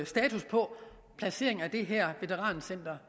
status på placeringen af det her veterancenter